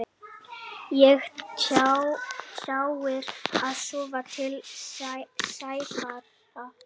Ekki tjáir að sofa til sæfara.